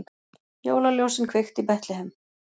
Jólaljósin kveikt í Betlehem